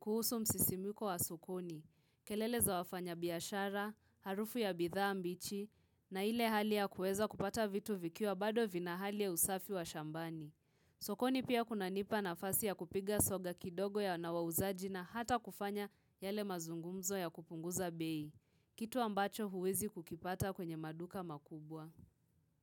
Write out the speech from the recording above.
kuhusu msisimiko wa sokoni. Kelele za wafanya biashara, harufu ya bidhaa mbichi, na ile hali ya kueza kupata vitu vikiwa bado vina hali ya usafi wa shambani. Sokoni pia kunanipa nafasi ya kupiga soga kidogo ya wanawauzaji na hata kufanya yale mazungumzo ya kupunguza bei. Kitu ambacho huwezi kukipata kwenye maduka makubwa.